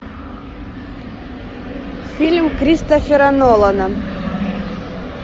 фильм кристофера нолана